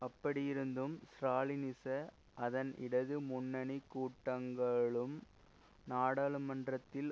அப்படியிருந்தும் ஸ்ராலினிச அதன் இடது முன்னணி கூட்டங்களும் நாடாளுமன்றத்தில்